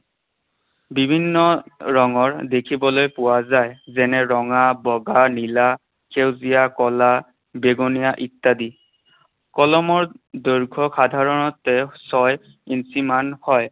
বিভিন্ন ৰঙৰ দেখিবলৈ পোৱা যায়। যেনে ৰঙা, বগা, নীলা, সেউজীয়া, কলা, বেঙুনীয়া ইত্যাদি। কলমৰ দৈৰ্ঘ্য সাধাৰণতে ছয় ইঞ্চিমান হয়।